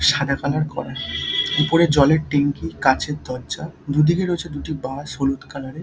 সাদা কালার করা উপরে জলের ট্যাংকি কাঁচের দরজা দুদিকে রয়েছে দুটি বাঁশ হলুদ কালার -এর।